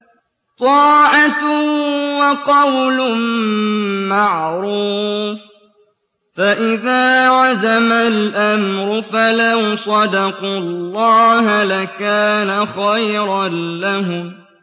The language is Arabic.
طَاعَةٌ وَقَوْلٌ مَّعْرُوفٌ ۚ فَإِذَا عَزَمَ الْأَمْرُ فَلَوْ صَدَقُوا اللَّهَ لَكَانَ خَيْرًا لَّهُمْ